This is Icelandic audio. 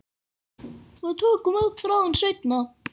Við tökum upp þráðinn seinna.